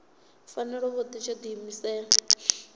fanela u vha tsho diimisela